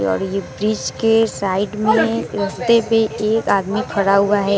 और ये ब्रिज के साइड में रस्ते पे एक आदमी खड़ा हुआ है।